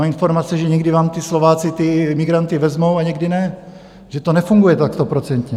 Mám informace, že někdy vám ti Slováci ty migranty vezmou a někdy ne, že to nefunguje tak stoprocentně.